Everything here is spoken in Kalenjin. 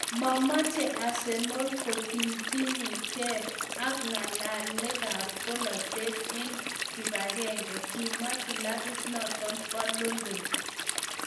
"Momoche Arsenal kotiny tiny kee ak ng'alekab bolatet en kibagenge," kimwa kilabit noton bo London.